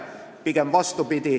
Pigem vastupidi.